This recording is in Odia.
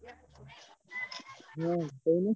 ହଁ କହୁନୁ।